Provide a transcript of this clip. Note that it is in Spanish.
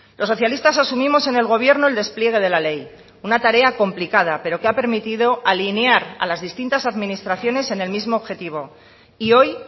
los socialistas asumimos en el gobierno el despliegue de la ley una tarea complicada pero que ha permitido alinear a las distintas administraciones en el mismo objetivo y hoy